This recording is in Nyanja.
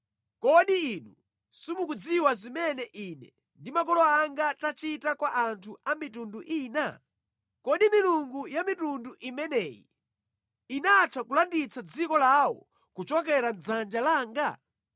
“Kodi inu simukudziwa zimene ine ndi makolo anga tachita kwa anthu a mitundu ina? Kodi milungu ya mitundu imeneyi inatha kupulumutsa dziko lawo kuchoka mʼdzanja langa?